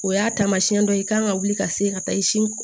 O y'a taamasiyɛn dɔ ye i kan ka wuli ka se ka taa i sin